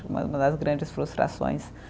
Das grandes frustrações